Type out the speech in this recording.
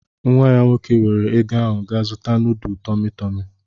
Nwa ya nwoke weere ego ahụ gaa zuta nudu TumuTumu.